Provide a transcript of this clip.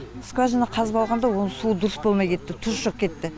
скважина қазып алғанда оның суы дұрыс болмай кетті тұзы шығып кетті